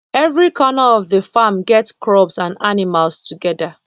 every corner of the farm get crops and animals together